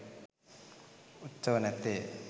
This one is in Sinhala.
උත්සව නැත්තේය.